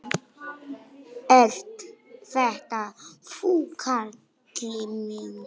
Ert þetta þú, Kalli minn?